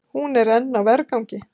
Hún er enn á vergangi.